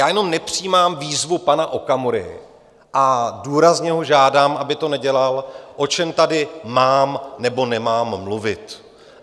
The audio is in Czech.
Já jenom nepřijímám výzvu pana Okamury a důrazně ho žádám, aby to nedělal, o čem tady mám, nebo nemám mluvit.